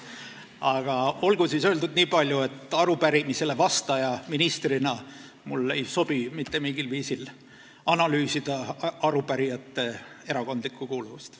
Aga olgu siis öeldud nii palju, et arupärimisele vastajana, ministrina ei sobi mul mitte mingil viisil analüüsida arupärijate erakondlikku kuuluvust.